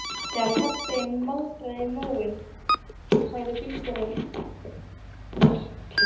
Þegar farþeginn maldaði í móinn sagði bílstjórinn eilítið fyrtinn